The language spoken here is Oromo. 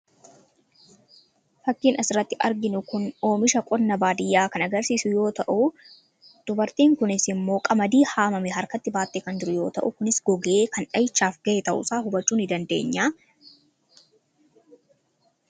Fakkiin asirratti arginu kun oomisha qonna baadiyyaa kan agarsiisu yoota'u; Dubartiin kunis immoo qamadii haamame harkatti baattee kan jirtu yoota'u kunis gogee kan dhahichaaf ga'e ta'uusaa hubachuu nidandeenya.